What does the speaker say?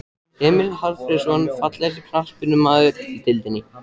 Emil Hallfreðsson Fallegasti knattspyrnumaðurinn í deildinni?